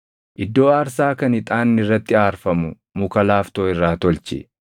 “Iddoo aarsaa kan ixaanni irratti aarfamu muka laaftoo irraa tolchi.